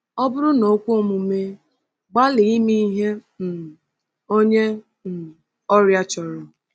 Ọ bụrụ na o kwe omume, gbalịa ime ihe um onye um ọrịa chọrọ.